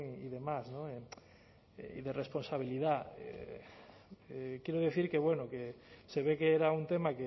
y demás no y de responsabilidad quiero decir que bueno se ve que era un tema